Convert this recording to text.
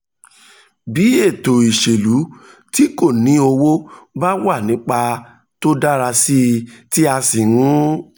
bí ètò ìṣèlú tí kò ní owó bá wà nípò tó dára tí a sì ń